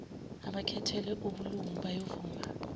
abakhethelwe ubulungu bayovuma